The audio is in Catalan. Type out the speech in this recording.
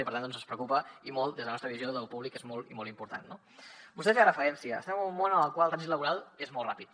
i per tant ens preocupa i molt des de la nostra visió de lo públic que és molt i molt important no vostè hi feia referència estem en un món en el qual el trànsit laboral és molt ràpid